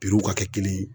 Pirow ka kɛ kelen ye